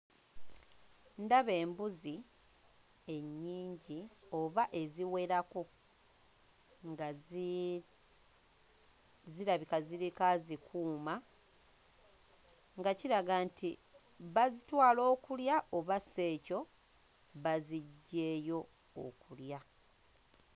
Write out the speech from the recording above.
Ndaba embuzi ennyingi aba eziwerako nga zi zirabika ziriko azikuuma nga kiraga nti bazitwala okulya oba si ekyo baziggyeeyo okulya.